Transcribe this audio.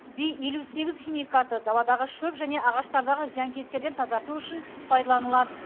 би елу сегіз химикаты даладағы шөп және ағаштардағы зиянкестерден тазарту үшін пайдаланылады